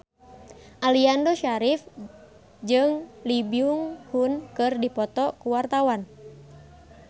Aliando Syarif jeung Lee Byung Hun keur dipoto ku wartawan